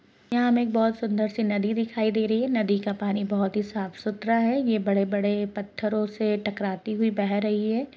यहां हमें एक बहोत सुंदर सी नदी दिखाई दे रही है नदी का पानी बहोत ही साफ सुथरा है ये बड़े-बड़े पत्थरों से टकराती हुई बह रही है।